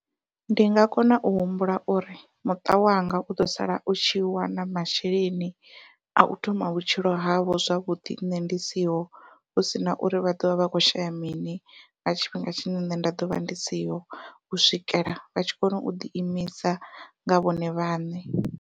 Ndi nga kona u humbula uri muṱa wanga u ḓo sala u tshi wana masheleni au thoma vhutshilo havho zwavhuḓi nṋe ndi siho, hu sina uri vha ḓovha vha kho shaya mini nga tshifhinga tshine nṋe nda ḓovha ndi siho u swikela vha tshi kona u ḓi imisa nga vhone vhaṋe.